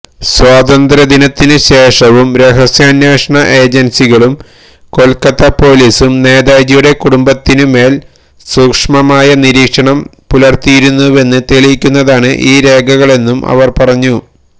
സ്വാതന്ത്ര്യത്തിനുശേഷവും രഹസ്യാന്വേഷണ ഏജൻസികളും കൊൽക്കത്ത പൊലീസും നേതാജിയുടെ കുടുംബത്തിനുമേൽ സൂക്ഷ്മമായ നിരീക്ഷണം പുലർത്തിയിരുന്നുവെന്ന് തെളിയിക്കുന്നതാണ് ഈ രേഖകളെന്നും അവർ പറഞ്ഞു